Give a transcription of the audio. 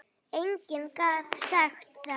Enginn gat sagt það.